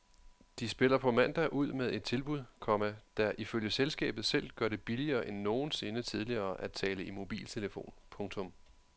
De spiller på mandag ud med et tilbud, komma der ifølge selskabet selv gør det billigere end nogensinde tidligere at tale i mobiltelefon. punktum